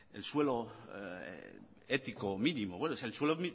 el suelo ético mínimo es el suelo